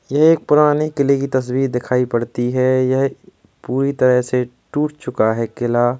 ये एक पुराने किले की तस्वीर दिखाई पड़ती है यह पूरी तरह से टूट चुका है किला --